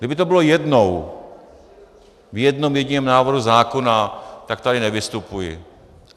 Kdyby to bylo jednou, v jednom jediném návrhu zákona, tak tady nevystupuji.